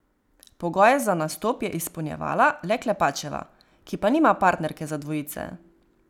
Pogoje za nastop je izpolnjevala le Klepačeva, ki pa nima partnerke za dvojice.